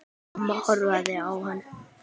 Amma horfði á hana.